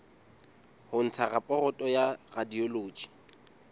ho ntsha raporoto ya radiology